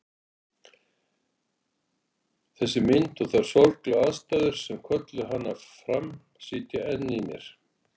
Þessi mynd og þær sorglegu aðstæður sem kölluðu hana fram sitja enn í mér.